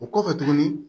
O kɔfɛ tuguni